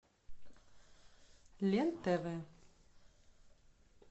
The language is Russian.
лен тв